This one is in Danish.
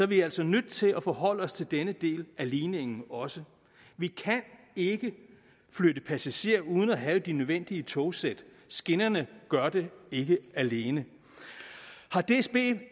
vi altså nødt til at forholde os til denne del af ligningen også vi kan ikke flytte passagerer uden at have de nødvendige togsæt skinnerne gør det ikke alene har dsb